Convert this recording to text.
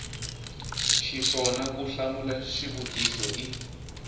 xiswona ku hlamula xivutiso i